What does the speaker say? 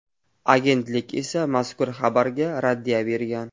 Agentlik esa mazkur xabarga raddiya bergan .